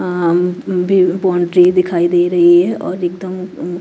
अं भी बाउंड्री दिखाई दे रही है और एक दमये ऊं--